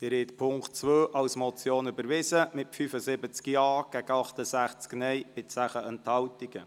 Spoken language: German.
Sie haben Punkt 2 als Motion überwiesen mit 75 Ja- gegen 86 Nein-Stimmen bei 10 Enthaltungen.